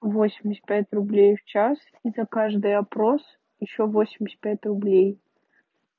восемьдесят пять рублей в час и за каждый опрос ещё восемьдесят пять рублей